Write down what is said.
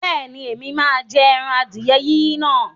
Bẹ́ẹ̀ni, Ẹ̀mí máa jẹ ẹran adìẹ yíyin náà.